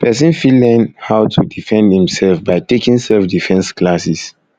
persin fit learnn fit learnn how to defend im self by taking selfdefence classes